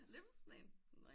UF